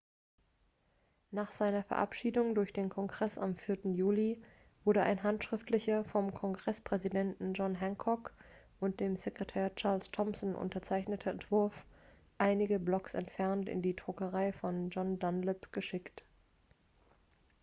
nach seiner verabschiedung durch den kongress am 4. juli wurde ein handschriftlicher vom kongresspräsidenten john hancock und dem sekretär charles thomson unterzeichneter entwurf einige blocks entfernt in die druckerei von john dunlap geschickt